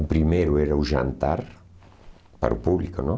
O primeiro era o jantar, para o público, não?